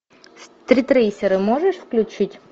стритрейсеры можешь включить